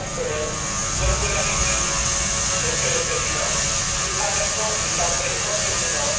Chers collègues, comme vous l'avez dit, Monsieur le Président, nous traversons une tempête sans précédent.